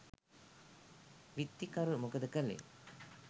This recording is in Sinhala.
විත්තිකරු මොකද කළේ?